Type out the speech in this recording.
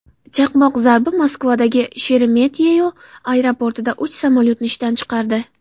Chaqmoq zarbi Moskvadagi Sheremetyevo aeroportida uch samolyotni ishdan chiqardi.